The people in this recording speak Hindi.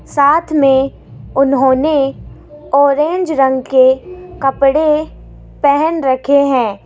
साथ में उन्होंने आरेंज रंग के कपड़े पहन रखे हैं।